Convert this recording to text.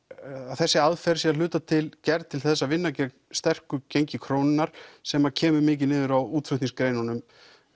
þessi aðferð sé að hluta til gerð til þess að vinna gegn sterku gengi krónunnar sem kemur mikið niður á útflutningsgreinunum